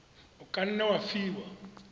o ka nne wa fiwa